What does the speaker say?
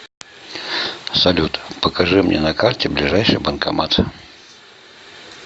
салют покажи мне на карте ближайший банкомат